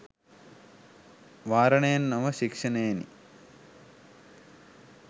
වාරණයෙන් නොව ශික්ෂණයෙනි